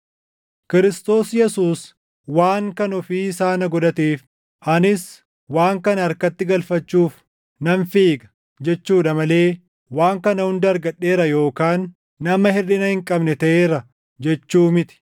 Kiristoos Yesuus waan kan ofii isaa na godhateef anis waan kana harkatti galfachuuf nan fiiga jechuudha malee waan kana hunda argadheera yookaan nama hirʼina hin qabne taʼeera jechuu miti.